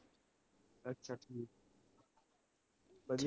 ਵਧੀਆ